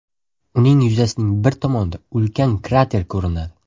Uning yuzasining bir tomonida ulkan krater ko‘rinadi.